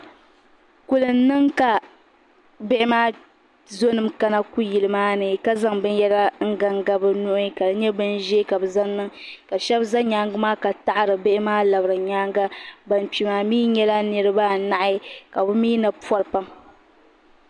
Dabba n gbiri salma bi siɣila bayaɣati ni n ti toori na n ti tiri bi taba ban ʒɛn ʒɛya bi luɣuli ni bi toori la bayaɣati maa niŋda tahapɔŋ bihi ni bi shaba pili la zipiliti ka bi shaba mi bi pili.